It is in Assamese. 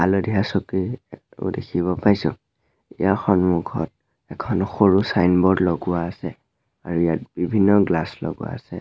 হালধীয়া চকী এ ও দেখিব পাইছোঁ য়াৰ সন্মুখত এখন সৰু চাইনব'ৰ্ড লগোৱা আছে আৰু ইয়াত বিভিন্ন গ্লাছ লগোৱা আছে।